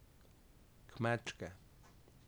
Kmečke.